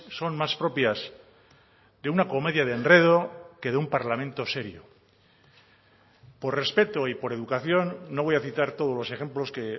son más propias de una comedia de enredo que de un parlamento serio por respeto y por educación no voy a citar todos los ejemplos que